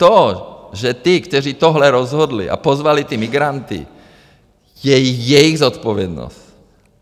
To, že ty, kteří tohle rozhodli a pozvali ty migranty, je jejich zodpovědnost.